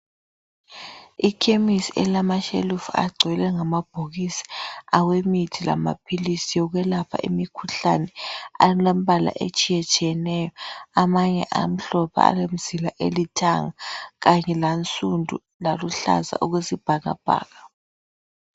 Ikhemisi elama shelufu agcwele ngamabhokisi awemithi lamaphilisi yokwelapha imikhuhlane alembala etshiye tshiyeneyo .Amanye amhlophe alemzila elithanga. Kanye lansundu laluhlaza okwesibhakabhaka